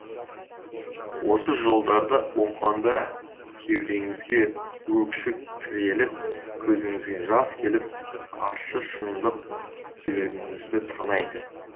осы жолдарды оқығанда кеудеңізге өксік тіреліп көзіңізге жас келіп ащы шындық жүрегіңізді тырнайды